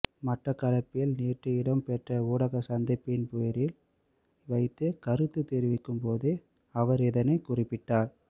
மட்டக்களப்பில் நேற்று இடம்பெற்ற ஊடகசந்திப்பொன்றில் வைத்து கருத்து தெரிவிக்கும் போதே அவர் இதனை குறிப்பிட்டார்